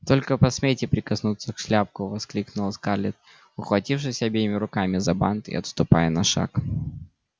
только посмейте прикоснуться к шляпку воскликнула скарлетт ухватившись обеими руками за бант и отступая на шаг